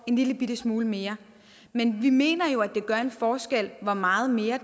en lillebitte smule mere men vi mener jo at det gør en forskel hvor meget mere